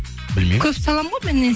білмеймін көп салам ғой мен